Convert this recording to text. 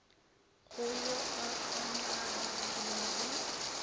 go yo a ka naganelago